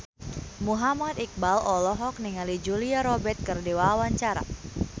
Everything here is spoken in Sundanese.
Muhammad Iqbal olohok ningali Julia Robert keur diwawancara